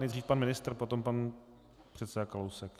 Nejdřív pan ministr, potom pan předseda Kalousek.